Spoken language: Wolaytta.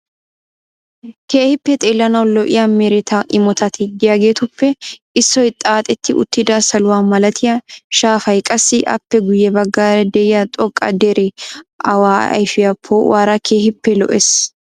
Keehippe xeellanawu lo"iyaa mereta imotati de"iyaageetuppe issoy xaaxeti uttida saluwaa malatiyaa shaafay qassi aappe guyye baggaara de'iyaa xoqqa deree awaa ayfiyaa poo"uwaara keehippe lo'ees.